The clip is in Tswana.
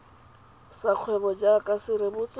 sa kgwebo jaaka se rebotswe